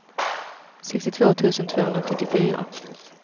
sextiotvå tusen tvåhundrasjuttiofyra